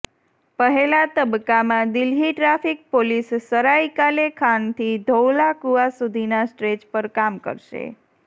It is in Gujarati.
પહેલા તબક્કામાં દિલ્હી ટ્રાફિક પોલીસ સરાય કાલે ખાનથી ધૌલા કુઆં સુધીના સ્ટ્રેચ પર કામ કરશે